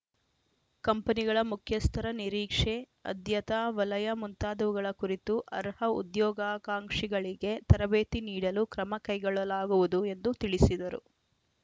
ಕಂಪನಿಗಳ ಮುಖ್ಯಸ್ಥರ ನಿರೀಕ್ಷೆ ಅದ್ಯತಾ ವಲಯ ಮುಂತಾದವುಗಳ ಕುರಿತು ಅರ್ಹ ಉದ್ಯೋಗಾಕಾಂಕ್ಷಿಗಳಿಗೆ ತರಬೇತಿ ನೀಡಲು ಕ್ರಮ ಕೈಗೊಳ್ಳಲಾಗುವುದು ಎಂದು ತಿಳಿಸಿದರು